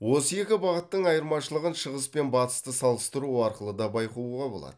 осы екі бағыттың айырмашылығын шығыс пен батысты салыстыру арқылы да байқауға болады